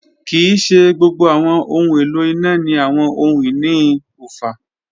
Kii ṣe gbogbo awọn ohun elo ina ni awọn ohun-ini oofa.